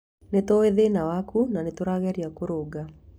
Nĩ tũĩ thĩna waku, na nĩ tũrageria kũrũnga.